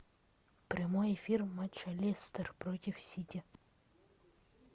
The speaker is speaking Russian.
прямой эфир матча лестер против сити